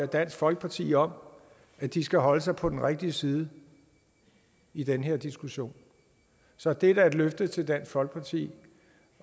dansk folkeparti om at de skal holde sig på den rigtige side i den her diskussion så det er da et løfte til dansk folkeparti